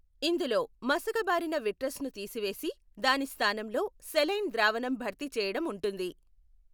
ఇందులో మసకబారిన విట్రస్ను తీసివేసి, దాని స్థానంలో సెలైన్ ద్రావణం భర్తీ చేయడం ఉంటుంది.